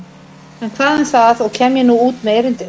En hvað um það og kem ég nú út með erindið.